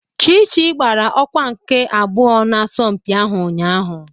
Chichi gbara ọkwa nke abụọ n'asọmpi ahụ ụnyahụ.